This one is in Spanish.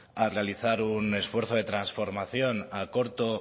a realizar un esfuerzo de transformación a corto